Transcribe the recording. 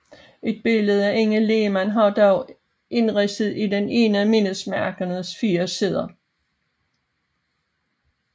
Et billede af Inge Lehmann er dog indridset i den ene af mindesmærkets fire sider